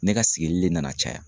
Ne ka sigili le nana caya.